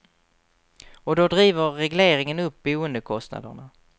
Och då driver regleringen upp boendekostnaderna.